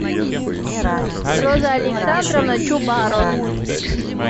роза александровна чубаро